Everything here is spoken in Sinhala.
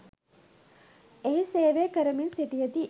එහි සේවය කරමින් සිටියදී